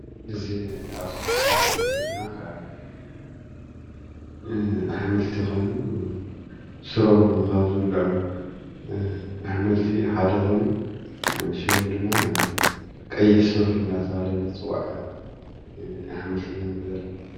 እዚ ኣብዚ ምስሊ ንርእዮ ዘለና ከዓ ኣሕምልቲ ኮይኑ ፍረኦም ካብ ዝብልዑ ኣሕምልቲ ሓደ ኮይኑ ሽሙ ድማ ቀይሕ ሱር እንዳተብሃለ ዝፅዋዕ አሕምልቲ ኢና ንርኢ ዘለና።